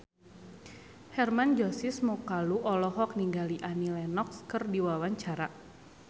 Hermann Josis Mokalu olohok ningali Annie Lenox keur diwawancara